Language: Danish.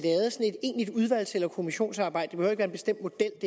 egentligt udvalgs eller kommissionsarbejde være en bestemt model